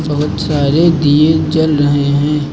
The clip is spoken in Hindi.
बहुत सारे दिये जल रहे हैं।